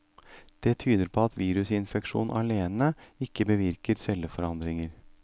Det tyder på at virusinfeksjon alene ikke bevirker celleforandringer.